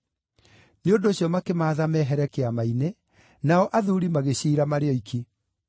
Nĩ ũndũ ũcio makĩmaatha mehere Kĩama-inĩ, nao athuuri magĩciira marĩ oiki.